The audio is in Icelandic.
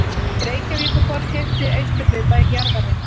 Reykjavíkurborg keypti austurhluta jarðarinnar